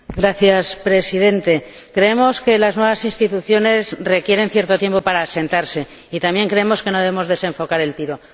Señor Presidente, creemos que las nuevas instituciones requieren cierto tiempo para asentarse y también creemos que no debemos desenfocar el tiro.